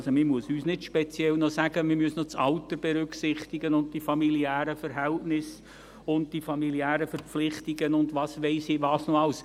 Also: Man muss uns nicht noch speziell sagen, man müsse noch das Alter berücksichtigen und die familiären Verhältnisse, die familiären Verpflichtungen und weiss ich nicht was noch alles.